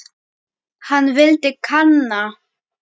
Hann vildi kanna.